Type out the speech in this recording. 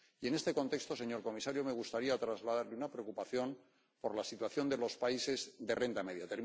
Y en este contexto, señor comisario, me gustaría trasladarle una preocupación por la situación de los países de renta media.